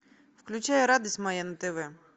включай радость моя на тв